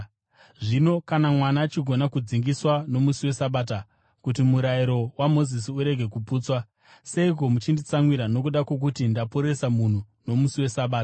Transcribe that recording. Zvino kana mwana achigona kudzingiswa nomusi weSabata kuti murayiro waMozisi urege kuputswa, seiko muchinditsamwira nokuda kwokuti ndaporesa munhu nomusi weSabata?